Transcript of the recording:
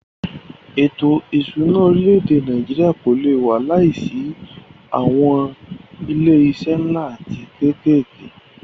Ètò ìṣúná orílẹ̀-èdè Nàìjíríà kò lé wà láìsí awọn ilé iṣé nlá atí kékèké.